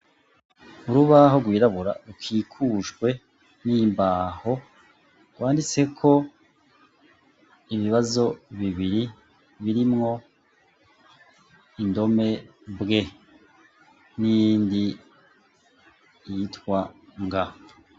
Urubaho rwirabura rukikujwe n'imbaho rwanditse ko ibibazo bibiri birimwo indome mbwe n'indi yitwa nga.